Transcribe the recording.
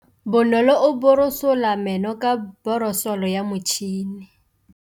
Bonolô o borosola meno ka borosolo ya motšhine.